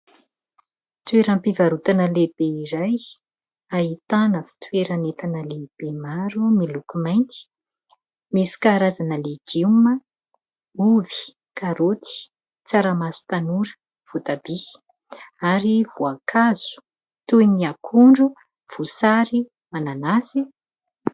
Toeram-pivarotana lehibe iray ahitana fitoeran'entana lehibe maro miloko mainty. Misy karazana legioma : ovy, karoty, tsaramaso tanora, votabia. Ary voankazo toy ny : akondro, voasary, mananasy.